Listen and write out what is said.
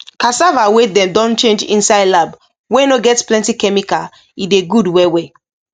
cassava wey dem don change inside lab wey no get plenty chemical e de good well well